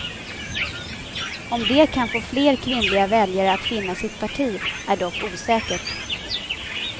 Om det kan få fler kvinnliga väljare att finna sitt parti är dock osäkert.